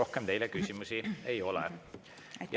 Rohkem teile küsimusi ei ole.